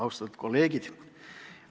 Austatud kolleegid!